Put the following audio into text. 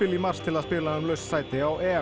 í mars til að spila um laust sæti á